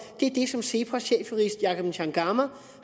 cepos’ chefjurist jacob mchangama